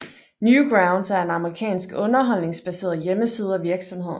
Newgrounds er en amerikansk underholdningsbaseret hjemmeside og virksomhed